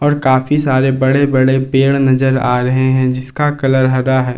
काफी सारे बड़े बड़े पेड़ नजर आ रहे हैं जिसका कलर हरा है।